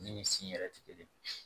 Min sin yɛrɛ tɛ kelen ye